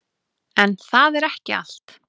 En það er ekki allt.